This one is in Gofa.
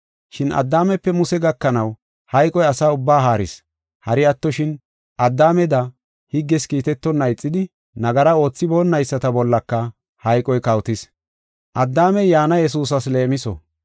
Shin Addaamepe Muse gakanaw hayqoy asa ubbaa haaris. Hari attoshin, Addaameda higges kiitetonna ixidi, nagara oothiboonayisata bollaka hayqoy kawotis. Addaamey yaana Yesuusas leemiso.